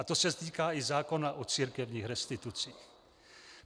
A to se týká i zákona o církevních restitucích.